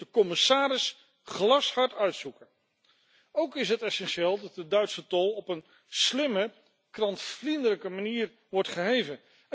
Dat moet de commissaris glashard uitzoeken. Ook is het essentieel dat de Duitse tol op een slimme, klantvriendelijke manier wordt geheven.